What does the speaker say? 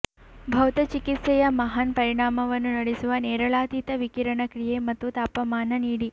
ಭೌತಚಿಕಿತ್ಸೆಯ ಮಹಾನ್ ಪರಿಣಾಮವನ್ನು ನಡೆಸುವ ನೇರಳಾತೀತ ವಿಕಿರಣ ಕ್ರಿಯೆ ಮತ್ತು ತಾಪಮಾನ ನೀಡಿ